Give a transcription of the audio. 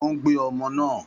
Ó ń gbé ọmọ náà.